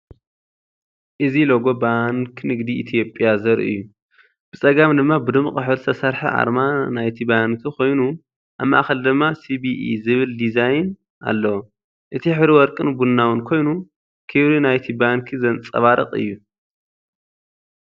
እዚ ሎጎ ባንኪ ንግዲ ኢትዮጵያ ዘርኢ እዩ። ብጸጋም ድማ ብድሙቕ ሕብሪ ዝተሰርሐ ኣርማ ናይቲ ባንክ ኮይኑ፡ ኣብ ማእከል ድማ "ሲቢኢ" ዝብል ዲዛይን ኣለዎ። እቲ ሕብሪ ወርቅን ቡናውን ኮይኑ፡ ክብሪ ናይቲ ባንክ ዘንጸባርቕ እዩ።